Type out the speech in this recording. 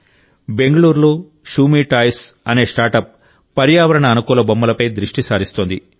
బెంగుళూరులో శూమీ టాయ్స్ అనే స్టార్టప్ పర్యావరణ అనుకూల బొమ్మలపై దృష్టి సారిస్తోంది